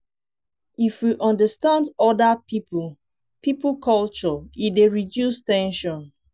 if we understand oda pipo pipo culture e dey reduce ten sion